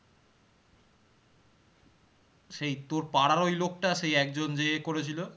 সেই তোর পাড়ার ওই লোক টা সেই একজন যে এ করেছিল